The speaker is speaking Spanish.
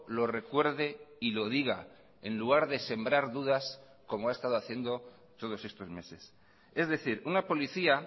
lo recuerde y lo diga en lugar de sembrar dudas como ha estado haciendo todos estos meses es decir una policía